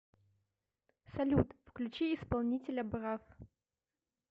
салют включи исполнителя брав